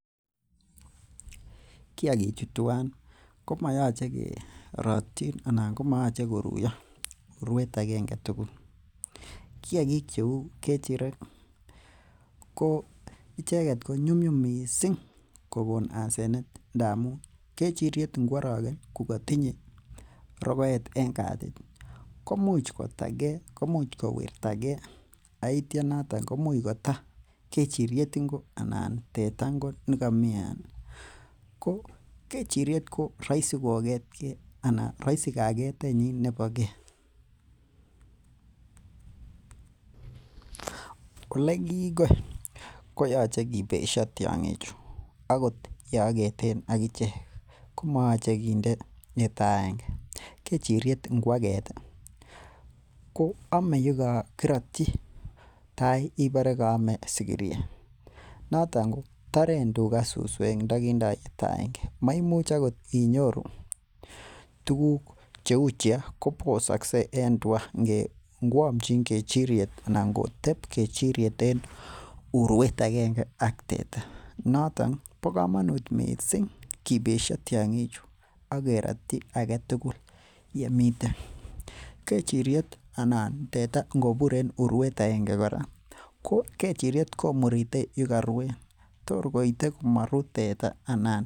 Kiagikchu tuan komayache koruyo urwet aegenge tugul, kiagik cheuu kechirek ko nyumnyum missing kokon asenet ndamuun kechiriet ngoaragen kokatinye rokoet en katit nyin, koimuch kotagee, koimuch kowirtage aitia noton komuch kota kechiriet ingo anan tetaa nekomii yoto. Ko kechiriet ko raisi ko ketke anan rahisi kageten nyin bo ge. oleegiigoi ko yoche kibesha tiang'ik chu akot yeageten akichek, koma yoche kinde yetaaenge. Kechiriet ingo aget ko ame yekakiratyi tai ibore kaame sigiryet. Noton ko taren tuga suswek en ndogindo yetaaenge. Maimuch agot inyoru tuguk cheuu chemo, kobosaksei en tua ingamchin kechiriet anan ngoamchin kechiriet ak tuga. Nito bo komonuut missing kibesia tiang'ik chu. Akerattyi agetugul yemiten. Kechiriet anan tetaa ngobur en uruet aenge, koa kechiriet komurite olekaruen tor koite komaru mteta anan.